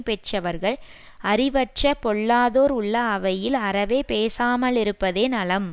பெற்றவர்கள் அறிவற்ற பொல்லாதோர் உள்ள அவையில் அறவே பேசாமாலிருப்பதே நலம்